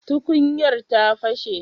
tukuyar ta pashe?